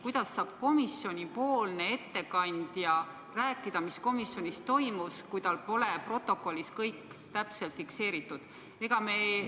Kuidas saab komisjoni ettekandja rääkida, mis komisjonis toimus, kui tal pole protokollis kõik täpselt fikseeritud?